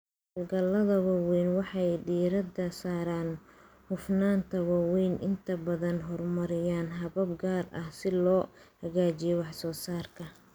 Hawlgallada waaweyn waxay diiradda saaraan hufnaanta waxayna inta badan horumariyaan habab gaar ah si loo hagaajiyo wax soo saarka.